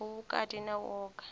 u vhukati na u oa